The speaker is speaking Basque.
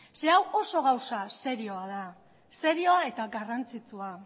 hau oso gauza serioa da serioa eta garrantzitsua